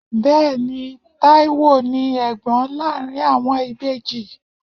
Bẹẹni, Taiwo ni Ẹ̀gbọ́n láàárín àwọn ìbejì.